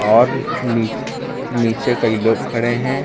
और नीचे नीचे कई लोग खड़े हैं।